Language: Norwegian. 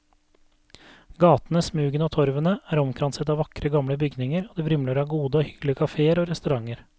Gatene, smugene og torvene er omkranset av vakre gamle bygninger og det vrimler av gode og hyggelige kaféer og restauranter.